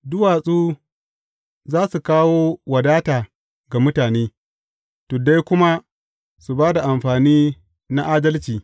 Duwatsu za su kawo wadata ga mutane, tuddai kuma su ba da amfani na adalci.